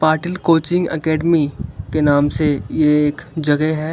Patil coaching academy के नाम से ये एक जगह है--